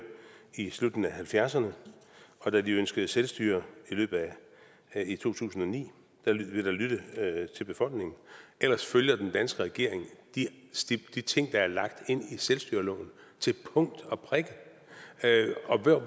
i slutningen af nitten halvfjerdserne og da de ønskede selvstyre i to tusind og ni blev der lyttet til befolkningen ellers følger den danske regering de ting der er lagt ind i selvstyreloven til punkt og prikke